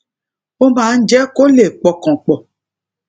ó máa ń jé kó lè pọkàn pò